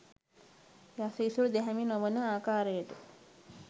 යස ඉසුරු දැහැමි නොවන ආකාරයට